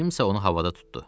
Kimsə onu havada tuttu.